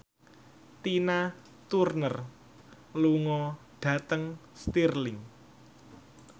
Tina Turner lunga dhateng Stirling